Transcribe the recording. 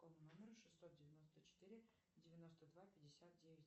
по номеру шестьсот девяносто четыре девяносто два пятьдесят девять